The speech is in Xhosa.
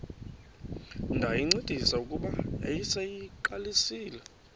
ndayincedisa kuba yayiseyiqalisile